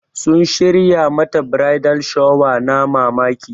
Sun shirya mata bridal shower na mamaki.